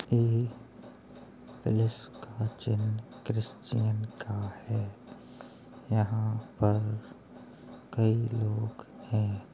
ये प्लस का चिन्ह क्रिस्चियन का है। यहाँ पर कई लोग हैं।